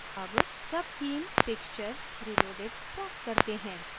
अब subtheme pixture reloaded प्राप्त करते है